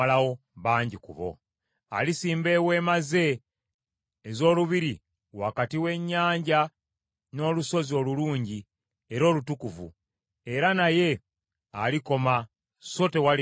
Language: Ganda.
Alisimba eweema ze ez’olubiri wakati w’ennyanja n’olusozi olulungi era olutukuvu; era naye alikoma so tewaliba amuyamba.